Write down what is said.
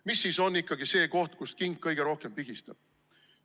Mis siis on ikkagi see koht, kust king kõige rohkem pigistab?